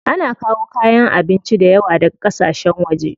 Ana kawo kayan abinci dayawa daga ƙasashen waje.